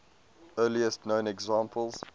earliest known examples